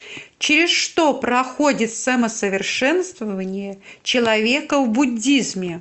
через что проходит самосовершенствование человека в буддизме